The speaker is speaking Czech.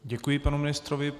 Děkuji panu ministrovi.